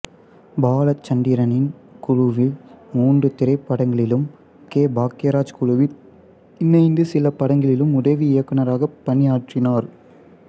பாலசந்தரின் குழுவில் மூன்று திரைப்படங்களிலும் கே பாக்யராஜ் குழுவில் இணைந்து சில படங்களிலும் உதவி இயக்குநராகப் பணியாற்றினார்